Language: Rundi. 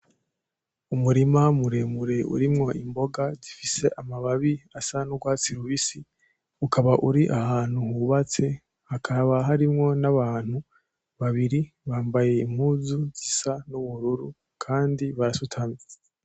Umurima muremure urimwo imboga zifise amababi asa n'urwatsi rubisi ukaba uri ahantu hubatse, hakaba harimwo n'abantu babiri bambaye impuzu zisa n'ubururu kandi barasutamye.